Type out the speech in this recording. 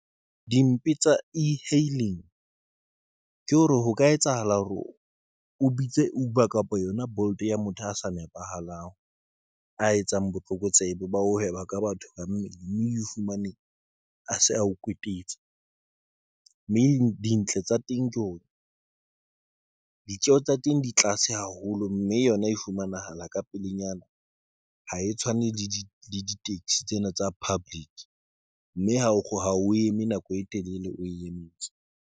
Dimpe tsa E-hailing ke hore ho ka etsahala hore o biditse Uber kapa yona Bolt ya motho a sa nepahalang, a etsang botlokotsebe, bao ka batho ba mmele mme o fumane a se ao kwetetse mme di dintle tsa teng, ke ona ditjeho tsa teng, di tlase haholo, mme yona e fumanahala ka pelenyana, ha e tshwane le ditekesi tsena tsa public mme ha o kgone o eme nako e telele, o e emetse.